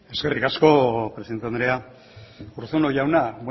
eskerrik asko presidenta andrea urruzuno jauna